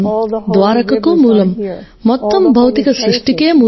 ద్వారకకు మూలం మొత్తం భౌతిక సృష్టికి మూలం